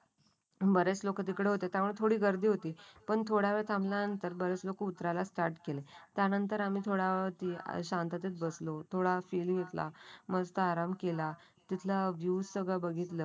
बरेच लोक तिकडे होते तेव्हा थोडी गर्दी होती. पण थोडा वेळ थांबल्यानंतर बरेच लोक उतरायला स्टार्ट केली त्यानंतर आम्ही थोडा वेळ शांततेत बसलो होतो थोडा मस्त आराम केला. तिथलं व्ह्यू सगळं बघितलं